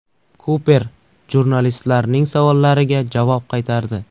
Kuper jurnalistlarning savollariga javob qaytardi.